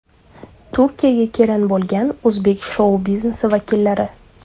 Turkiyaga kelin bo‘lgan o‘zbek shou-biznesi vakillari .